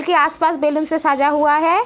के आस-पास बैलून से सजा हुआ है।